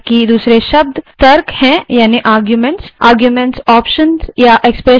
arguments options या expressions या file हो सकते हैं